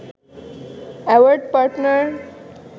award partner